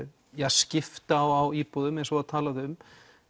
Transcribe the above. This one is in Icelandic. skipta á íbúðum eins og var talað um